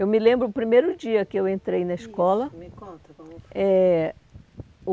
Eu me lembro o primeiro dia que eu entrei na escola. Isso, me conta como foi. Eh